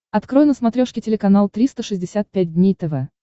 открой на смотрешке телеканал триста шестьдесят пять дней тв